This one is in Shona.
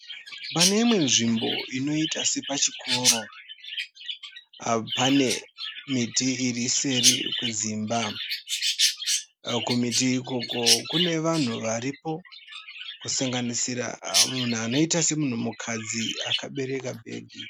Pane imwe nzvimbo inoita sepachikoro, pane miti iri seri kwedzimba, kumiti ikoko kune vanhu variko kusanganisira munhu anoita semunhukadzi akabereka bhegi.